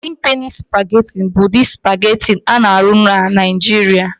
Godin Peni Supagetị bụ ụdị supagetị a na-arụ na Niijiria.